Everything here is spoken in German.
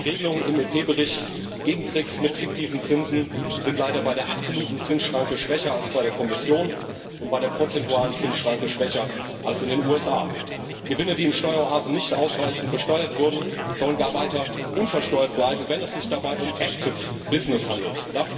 Die Regelungen im EP Bericht gegen Tricks mit fiktiven Zinsen sind leider bei der absoluten Zinsschranke schwächer als bei der Kommission und bei der prozentualen Zinsschranke schwächer als in den USA. Gewinne, die in Steueroasen nicht ausreichend besteuert wurden, sollen gar weiter unversteuert bleiben, wenn es sich dabei um active business handelt.